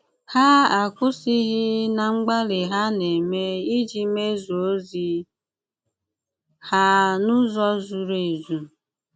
Hà akwụ̀sìghị̀ ná mgbálì hà na-ème ìjì mèzùó òzì hà n’ụ̀zọ̀ zùrù èzù.